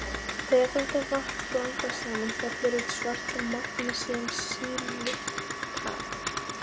Þegar þetta vatn blandast saman fellur út svart magnesíum-silíkat.